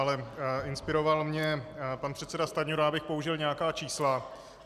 Ale inspiroval mě pan předseda Stanjura, abych použil nějaká čísla.